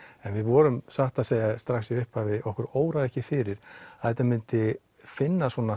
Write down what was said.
en við vorum satt að segja strax í upphafi okkur óraði ekki fyrir að þetta myndi finna svona